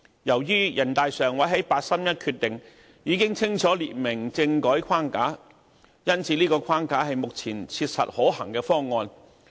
由於人大常委會在八三一決定已清楚列明政改框架，因此，這個框架是目前切實可行的方案。